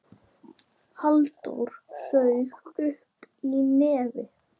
Halldór saug upp í nefið.